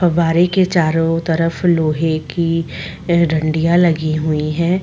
पब्बारे के चारों तरफ लोहे की डंडियां लगी हुई है।